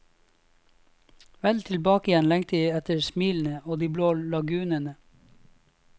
Vel tilbake igjen lengtet jeg etter smilene og de blå lagunene.